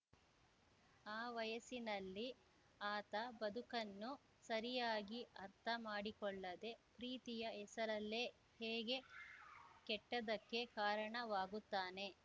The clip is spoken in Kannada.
ಆ ವಯಸ್ಸಿನಲ್ಲಿ ಆತ ಬದುಕನ್ನು ಸರಿಯಾಗಿ ಅರ್ಥ ಮಾಡಿಕೊಳ್ಳದೆ ಪ್ರೀತಿಯ ಹೆಸರಲ್ಲೇ ಹೇಗೆ ಕೆಟ್ಟದಕ್ಕೆ ಕಾರಣ ವಾಗುತ್ತಾನೆ